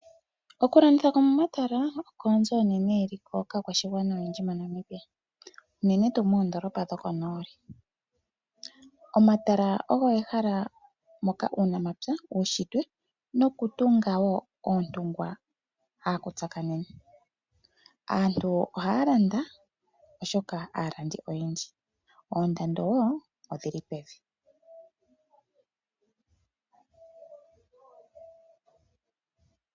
Okulanditha komomatala oko onzo onene yeliko kaakwashigwana oyendji moNamibia, unene tuu moondoolopa dhokonooli. Omatala ogo ehala moka uunamapya, uunshitwe nokutunga wo oontungwa haku tsakanene. Aantu ohaya landa, oshoka aalandi oyendji. Oondando wo odhi li pevi.